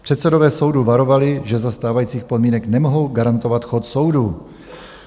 Předsedové soudů varovali, že za stávajících podmínek nemohou garantovat chod soudů.